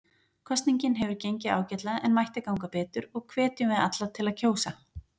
Kosningin hefur gengið ágætlega en mætti ganga betur og hvetjum við alla til að kjósa.